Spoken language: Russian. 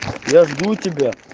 я жду тебя